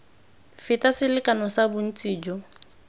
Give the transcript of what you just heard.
feta selekano sa bontsi jo